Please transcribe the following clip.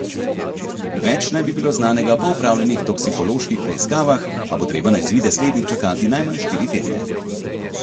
Več naj bi bilo znanega po opravljenih toksikoloških preiskavah, a bo treba na izvide slednjih čakati najmanj štiri tedne.